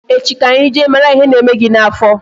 Echi ka anyi jee mara ihe na-eme gị n'afọ